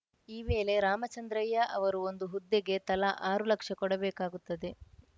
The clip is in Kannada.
ಈ ವೇಳೆ ರಾಮಚಂದ್ರಯ್ಯ ಅವರು ಒಂದು ಹುದ್ದೆಗೆ ತಲಾ ಆರು ಲಕ್ಷ ಕೊಡಬೇಕಾಗುತ್ತದೆ